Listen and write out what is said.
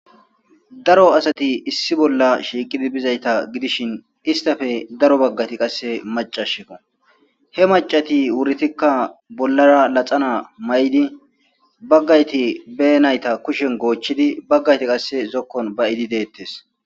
daro asati issi bolla shiiqidi bizayta gidishin istafe daro baggati qasse macashiko he macati wuritikka bollara laxana may7di baggayti be nayta kushen goochchidi baggayti qasse zokkon ba'idi deettes